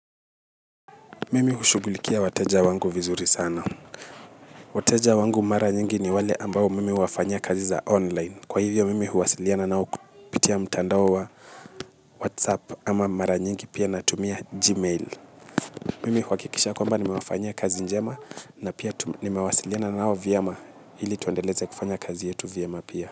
Mimi hushugulikia wateja wangu vizuri sana. Wateja wangu mara nyingi ni wale ambao mimi huwafanya kazi za online. Kwa hivyo mimi huwasiliana nao kupitia mtandao wa whatsapp ama mara nyingi pia na tumia gmail. Mimi huhakikisha kwamba nimewafanyia kazi njema. Na pia nimewasiliana nao vyemaili tuendeleze kufanya kazi yetu vyema pia.